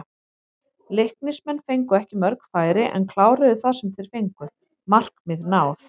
Leiknismenn fengu ekki mörg færi en kláruðu það sem þeir fengu, markmið náð?